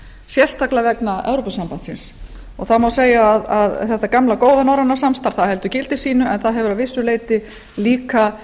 sérstaklega vegna evrópusambandsins það má segja að þetta gamla góða norræna samstarf heldur gildi sínu en það hefur að vissu leyti líka